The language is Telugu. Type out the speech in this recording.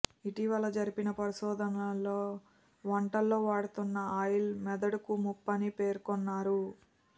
ఇటీవల జరిపిన పరిశోధనలో వంటల్లో వాడుతున్న ఆ ఆయిల్ మెదడుకు ముప్పని పేర్కొన్నారు